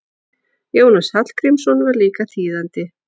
Jónas Hallgrímsson var líka þýðandi.